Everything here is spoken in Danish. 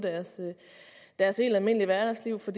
deres helt almindelige hverdagsliv for